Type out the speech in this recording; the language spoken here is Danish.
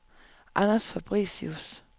Anders Fabricius